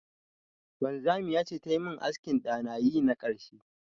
Wanzamiya ce ta yi min askin da na yi na karshe.